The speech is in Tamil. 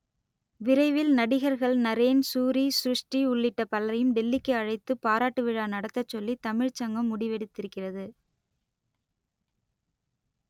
விரைவில் நடிகர்கள் நரேன் சூரி ஸ்ருஷ்டி உள்ளிட்ட பலரையும் டெல்லிக்கு அழைத்துப் பாராட்டு விழா நடத்தச் சொல்லி தமிழ்ச் சங்கம் முடிவெடுத்திருக்கிறது